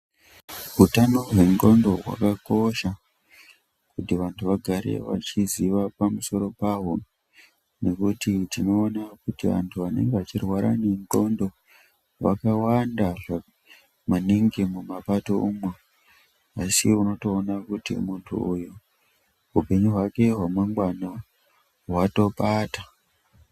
Hutano hwendxondo hwakakosha kuti vantu vagare vachiziva pamuso paho. nekuti tinoona kuti vantu vanenge vachirwara ndxondo wakawanda maningi mumapato umo. Asi unotoona kuti muntu uyu upenyu hwake hwanangwana hwatopata.